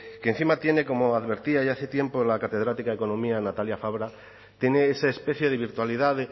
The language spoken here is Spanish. que encima tiene como advertía ya hace tiempo la catedrática de economía natalia fabra tiene esa especie de virtualidad